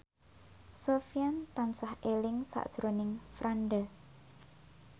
Sofyan tansah eling sakjroning Franda